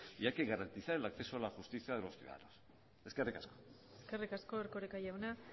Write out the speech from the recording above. y hay que garantizar el acceso a la justicia a los ciudadanos eskerrik asko eskerrik asko erkoreka jauna